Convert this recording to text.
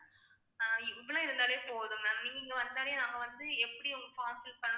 அஹ் இவ்வளவு இருந்தாலே போதும் ma'am நீங்க இங்க வந்தாலே நாங்க வந்து எப்படி உங்க form fill பண்ணணும்